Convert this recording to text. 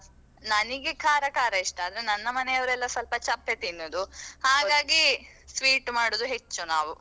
ನನಿಗೆ ಖಾರ ಖಾರ ಇಷ್ಟ ಅಂದ್ರೆ ನನ್ನ ಮನೆಯವರೆಲ್ಲಾ ಸ್ವಲ್ಪ ಚಪ್ಪೆ ತಿನ್ನೋದು ಹಾಗಾಗಿ sweet ಮಾಡುದು ಹೆಚ್ಚು ನಾವು.